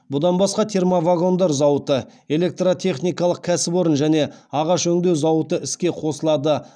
бұдан басқа термовагондар зауыты электротехникалық кәсіпорын және ағаш өңдеу зауыты іске қосылады